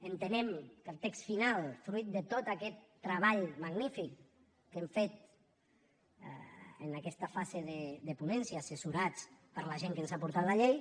entenem que al text final fruit de tot aquest treball magnífic que hem fet en aquesta fase de ponència assessorats per la gent que ens ha portat la llei